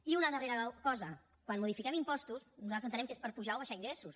i una darrera cosa quan modifiquem impostos nosaltres entenem que és per apujar o abaixar ingressos